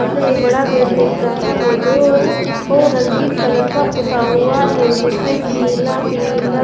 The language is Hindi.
सामने एक बड़ा गेट दिख रहा है जो ओ रंगीन कलर का पोता हुआ है जिसमे नीला पीला--